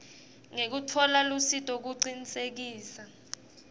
ngekutfola lusito kucinisekisa